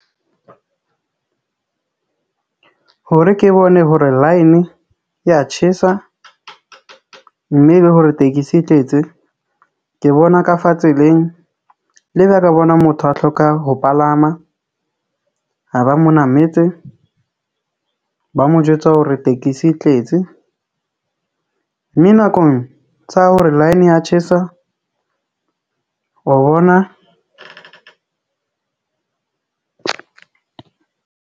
Hore ke bone hore line e ya tjhesa, mme le hore tekesi e tletse. Ke bona ka fa tseleng le ba ka bona motho a hloka ho palama, ha ba mo nametse, ba mo jwetsa hore tekesi e tletse. Mme nakong tsa hore line e ya tjhesa o bona.